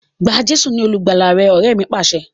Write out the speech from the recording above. Gba Jésù ni olùgbàlà rẹ! Ọrẹ mi Pàṣẹ.